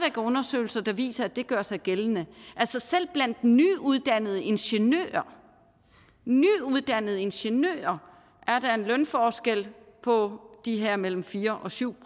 er undersøgelser der viser at det gør sig gældende selv blandt nyuddannede ingeniører nyuddannede ingeniører er der en lønforskel på de her mellem fire og syv